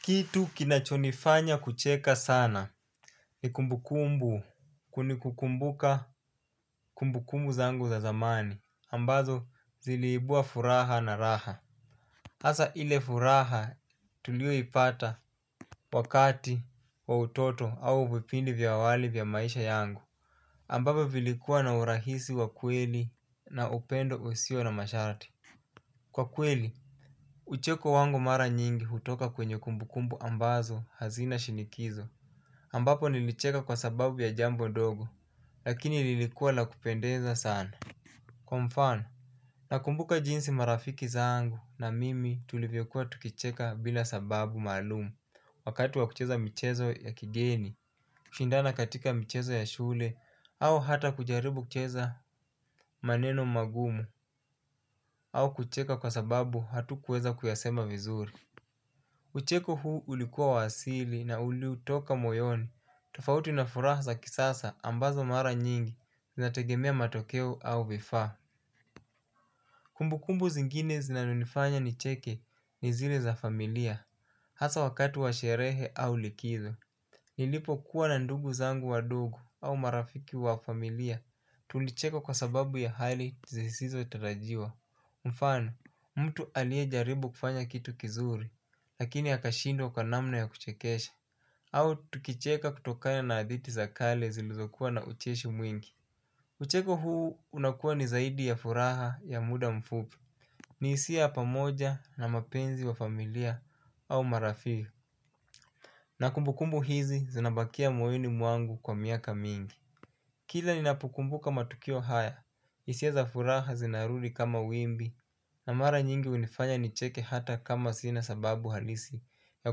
Kitu kinachonifanya kucheka sana. Ni kumbukumbu kunikukumbuka kumbukumbu zangu za zamani ambazo ziliibua furaha na raha hasa ile furaha tulio ipata wakati wa utoto au vipindi vya awali vya maisha yangu ambavyo vilikuwa na urahisi wa kweli na upendo usio na masharati. Kwa kweli, ucheko wangu mara nyingi hutoka kwenye kumbukumbu ambazo hazina shinikizo ambapo nilicheka kwa sababu ya jambo dogo. Lakini lilikuwa la kupendeza sana. Kwa mfano nakumbuka jinsi marafiki zangu na mimi tulivyokuwa tukicheka bila sababu maalumu. Wakati wa kucheza michezo ya kigeni kushindana katika mchezo ya shule au hata kujaribu kucheza maneno magumu au kucheka kwa sababu hatukuweza kuyasema vizuri. Ucheko huu ulikuwa wa asili na ulitoka moyoni. Tofauti na furaha za kisasa ambazo mara nyingi zinategemea matokeo au vifaa. Kumbukumbu zingine zinazonifanya nicheke ni zile za familia hasa wakati wa sherehe au likizo. Nilipokuwa na ndugu zangu wadogo au marafiki wa familia tulicheka kwa sababu ya hali zisisizo tarajiwa. Mfano, mtu aliye jaribu kufanya kitu kizuri lakini akashindqa kwa namna ya kuchekesha au tukicheka kutokana na hadhiti za kale zilizokuwa na ucheshi mwingi. Ucheko huu unakuwa ni zaidi ya furaha ya muda mfupi. Ni hisia ya pamoja na mapenzi wa familia au marafiki na kumbukumbu hizi zinabakia moyoni mwangu kwa miaka mingi. Kila ninapokumbuka matukio haya hisia za furaha zinarudi kama wimbi na mara nyingi hunifanya nicheke hata kama sina sababu halisi ya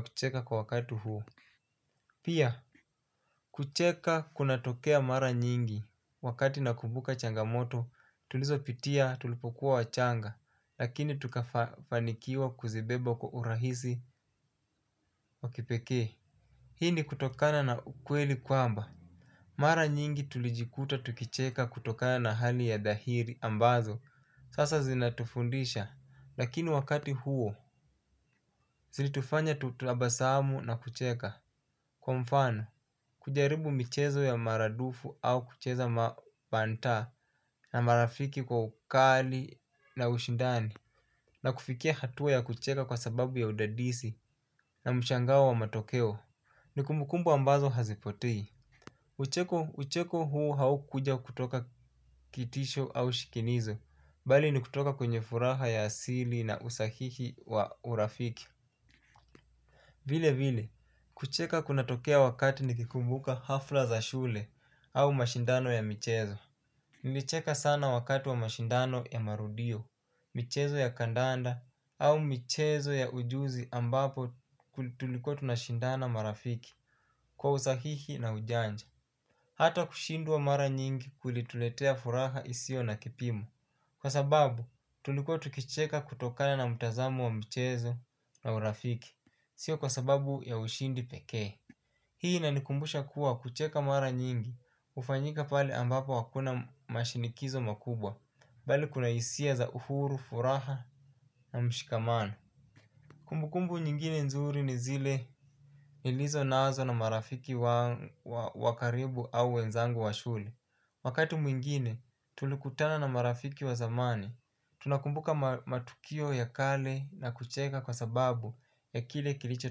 kucheka kwa wakati huu. Pia kucheka kuna tokea mara nyingi wakati nakumbuka changamoto tulizo pitia tulipokuwa wachanga. Lakini tukafanikiwa kuzibeba kwa urahisi wa kipekee. Hii ni kutokana na ukweli kwamba mara nyingi tulijikuta tukicheka kutokana na hali ya dhahiri ambazo sasa zinatufundisha. Lakini wakati huo zilitufanya tutubasamu na kucheka. Kwa mfano, kujaribu michezo ya maradufu au kucheza mabanta na marafiki kwa ukali na ushindani na kufikia hatua ya kucheka kwa sababu ya udadisi na mshangao wa wa matokeo. Ni kumbukumbu ambazo hazipotei. Ucheko huu haukuja kutoka kitisho au shikinizo. Bali ni kutoka kwenye furaha ya asili na usahihi wa urafiki. Vile vile, kucheka kunatokea wakati nikikumbuka hafla za shule au mashindano ya michezo. Nilicheka sana wakati wa mashindano ya marudio, michezo ya kandanda au michezo ya ujuzi ambapo tulikuwa tunashindana marafiki kwa usahihi na ujanja. Hata kushindwa mara nyingi kulituletea furaha isio na kipimo. Kwa sababu tulikuwa tukicheka kutokana na mtazamo wa michezo na urafiki. Sio kwa sababu ya ushindi peke hii inanikumbusha kuwa kucheka mara nyingi hufanyika pale ambapo hakuna mashinikizo makubwa. Bali kuna hisia za uhuru, furaha na mshikamano. Kumbukumbu nyingine nzuri ni zile nilizo nazo na marafiki wa karibu au wenzangu wa shule wakati mwingine tulikutana na marafiki wa zamani. Tunakumbuka matukio ya kale na kucheka kwa sababu ya kile kilicho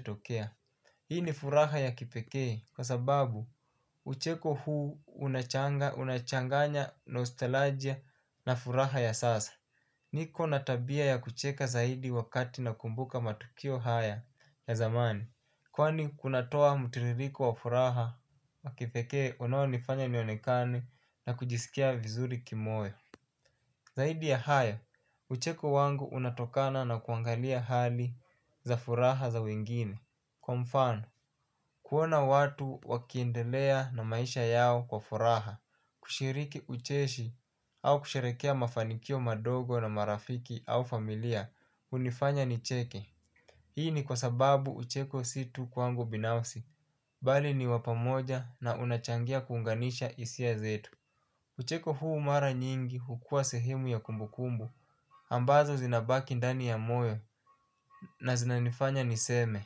tokea. Hii ni furaha ya kipekee kwa sababu ucheko huu unachanganya nostalgia na furaha ya sasa. Niko na tabia ya kucheka zaidi wakati nakumbuka matukio haya ya zamani. Kwani kunatoa mtiririko wa furaha wa kipeke unaonifanya nionekane na kujisikia vizuri kimoyo. Zaidi ya haya, ucheko wangu unatokana na kuangalia hali za furaha za wengine. Kwa mfano, kuona watu wakiendelea na maisha yao kwa furaha, kushiriki ucheshi, au kusherekea mafanikio madogo na marafiki au familia, hunifanya nicheke. Hii ni kwa sababu ucheko si tu kwangu binafsi, bali ni wa pamoja na unachangia kuunganisha hisia zetu. Ucheko huu mara nyingi hukua sehemu ya kumbu kumbu ambazo zinabaki ndani ya moyo na zinanifanya niseme.